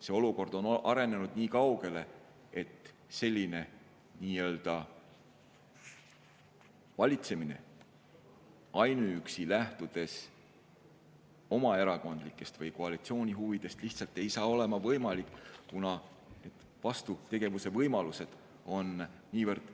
See olukord on arenenud nii kaugele, et edaspidi selline valitsemine, lähtudes ainuüksi oma erakondlikest või koalitsiooni huvidest, lihtsalt ei saa olla võimalik, kuna vastutegevuse võimalused on niivõrd